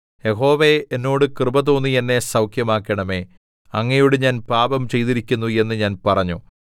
യഹോവേ എന്നോട് കൃപ തോന്നി എന്നെ സൗഖ്യമാക്കണമേ അങ്ങയോട് ഞാൻ പാപം ചെയ്തിരിക്കുന്നു എന്ന് ഞാൻ പറഞ്ഞു